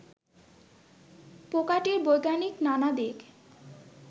পোকাটির বৈজ্ঞানিক নানা দিক